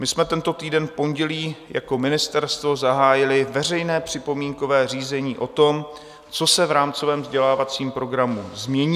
My jsme tento týden v pondělí jako ministerstvo zahájili veřejné připomínkové řízení o tom, co se v rámcovém vzdělávacím programu změní.